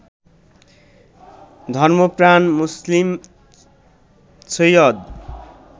ধর্মপ্রাণ মুসলিম সৈয়দ